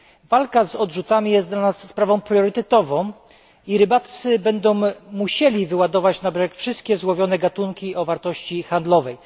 Walka z odrzutami jest dla nas sprawą priorytetową i rybacy będą musieli wyładowywać na brzeg wszystkie złowione gatunki o wartości handlowej.